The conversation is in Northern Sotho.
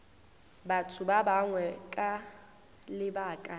batho ba bangwe ka lebaka